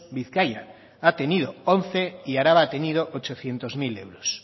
bizkaia ha tenido once y araba ha tenido ochocientos mil euros